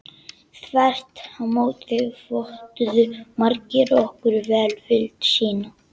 Þvert á móti vottuðu margir okkur velvild sína.